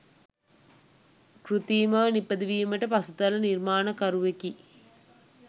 කෘතිමව නිපදවීමට පසුතල නිර්මාණකරුවකු